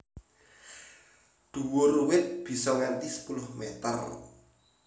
Dhuwur wit bisa nganti sepuluh meter